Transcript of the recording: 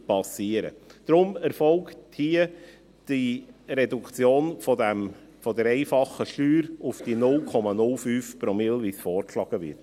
Deshalb erfolgt hier die Reduktion der einfachen Steuer auf die 0,05 Promille, so wie dies vorgeschlagen wird.